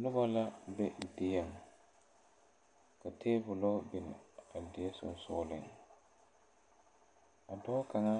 Nobɔ la be dieŋ ka tabolɔ bin a die sensugliŋ a dɔɔ kaŋa